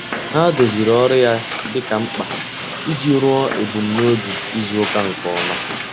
Ọ́ dòzìrì ọ́rụ́ ya dika mkpa iji rúó èbùmnòbì izùùka nke ọ́ma.